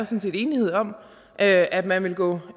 set enighed om at at man vil gå